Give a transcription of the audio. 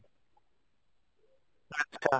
ଆଛା